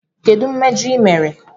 Kedu mmejọ ị mere?